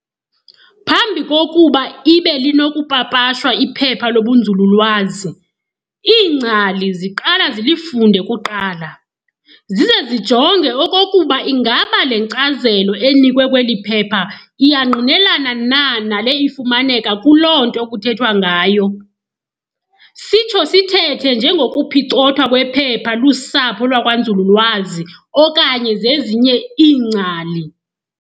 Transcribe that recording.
Phambi kokuba ibe linokupapashwa iphepha lobunzululwazi, iingcali ziqala zilifunde kuqala, zize zijonge okokuba ingaba le nkcazelo enikwe kweli phepha iyangqinelana na nale ifumaneka kuloo nto kuthethwa ngayo. sitsho sithethe ngengokuphicothwa kwephepha lusapho lwakwanzululwazi okanye zezinye iingcali.